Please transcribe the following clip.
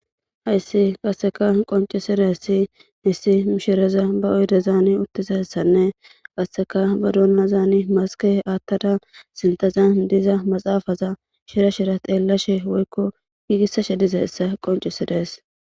Hayis qonicisizays issi mishireya oyidezan utizayisanee ba dunani masike wothaza sinithazan diza maxapeta shira shira xelashe woyiko gigisashe dizayisa qonicises